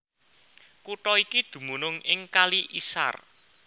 Kutha iki dumunung ing Kali Isar